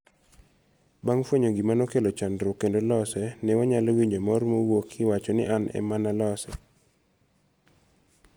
Bang' fuenyo gima nokelo chandruok, kendo lose, ne wanyalo winjo mor mowuok kiwacho ni, an ema nalose!